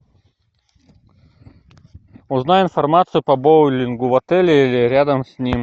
узнай информацию по боулингу в отеле или рядом с ним